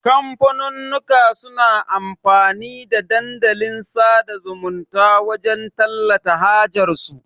kamfanunnuka suna amfani da Dandalin sada zumunta wajan tallata hajar su